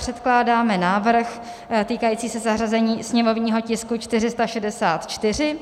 Předkládáme návrh týkající se zařazení sněmovního tisku 464,